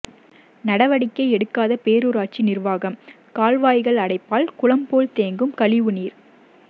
நடவடிக்கை எடுக்காத பேரூராட்சி நிர்வாகம் கால்வாய்கள் அடைப்பால் குளம்போல் தேங்கும் கழிவு நீர்